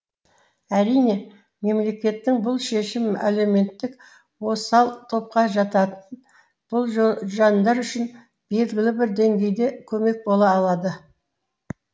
әрине мемлекеттің бұл шешімі әлеуметтік осал топқа жататын бұл жандар үшін белгілі бір деңгейде көмек бола алады